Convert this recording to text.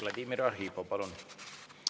Vladimir Arhipov, palun!